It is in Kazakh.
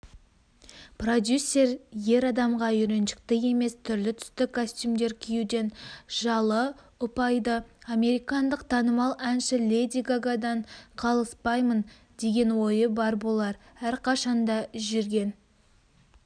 продюсер ер адамға үйреншікті емес түрлі-түсті костюмдер киюден жалыұпайды американдық танымал әнші леди гагадан қалыспаймын деген ойы бар болар әрқашанда жүрген